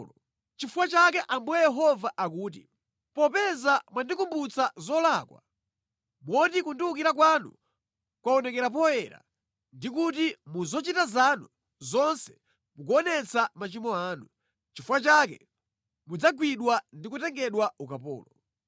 “Nʼchifukwa chake Ambuye Yehova akuti, ‘Popeza mwandikumbutsa zolakwa, moti kundiwukira kwanu kwaonekera poyera ndi kuti mu zochita zanu zonse mukuonetsa machimo anu, nʼchifukwa chake mudzagwidwa ndi kutengedwa ukapolo.